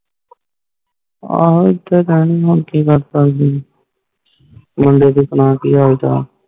ਹਾਂ ਏਦਾਂ ਹੀ ਰਹਨਿ ਕਿ ਕਰ ਸਕਦੇ ਆ ਮੁੰਡੇ ਦੇ ਸੁਣਾ ਕਿ ਹਾਲ ਚਾਲ